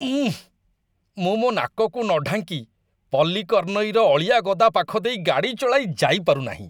ଉଁ, ମୁଁ ମୋ ନାକକୁ ନ ଢାଙ୍କି ପଲ୍ଲିକର୍ନଇର ଅଳିଆ ଗଦା ପାଖ ଦେଇ ଗାଡ଼ି ଚଳାଇ ଯାଇପାରୁନାହିଁ।